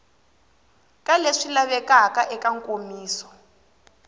ka leswi lavekaka eka nkomiso